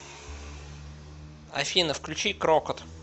афина включи крокот